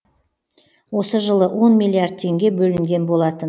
осы жылы он миллиард теңге бөлінген болатын